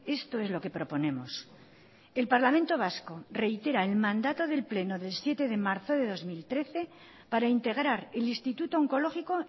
esto es lo que proponemos el parlamento vasco reitera el mandato del pleno del siete de marzo de dos mil trece para integrar el instituto onkologiko